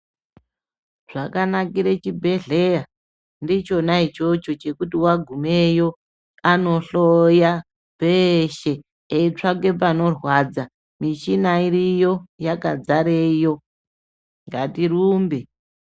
Zvakanakire chibhedhleya, ndichona ichocho, chekuti wagumeyo, anohloya zveeshe, eitsvake panorwadza. Michina iriyo, yakadzareyo, ngatirumbe.